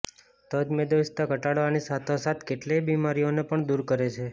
તજ મેદસ્વીતા ઘટાડવાની સાથોસાથ કેટલીય બીમારીઓને પણ દૂર કરે છે